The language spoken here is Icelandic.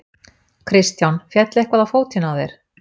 Kristján: Féll eitthvað á fótinn á þér?